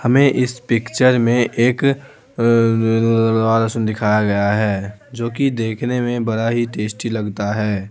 हमें इस पिक्चर में एक लड़ लहसुन दिखाया गया है जो कि देखने में बड़ा ही टेस्टी लगता है।